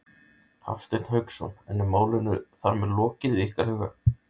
Hafsteinn Hauksson: En er málinu þar með lokið í ykkar huga?